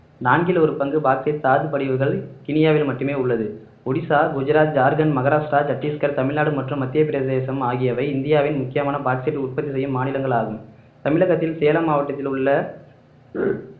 நான்கில் ஒரு பங்கு பாக்ஸைட் தாதுப்படிவுகள் கினியாவில் மட்டுமே உள்ளது ஒடிசா குஜராத் ஜார்கண்ட் மகாராஷ்டிரா சத்தீஸ்கர் தமிழ்நாடு மற்றும் மத்திய பிரதேசம் ஆகியவை இந்தியாவின் முக்கியமான பாக்ஸைட் உற்பத்தி செய்யும் மாநிலங்கள் ஆகும் தமிழகத்தில் சேலம் மாவட்டத்தில் உள்ள